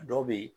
A dɔw bɛ yen